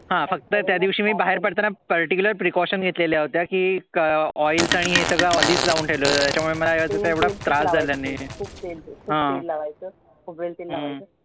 हं फ़क्त त्या दिवशी मी बाहेर पडताना particular precautions घेतल्या होत्या की oils आणी हे सगळं अधिच लावुन ठेवलं होतं त्याच्या मुळे मला एवढा त्रास झाला नाही.